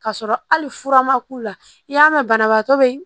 K'a sɔrɔ hali fura ma k'u la i y'a mɛn banabaatɔ be